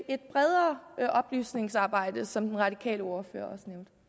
et bredere oplysningsarbejde som den radikale ordfører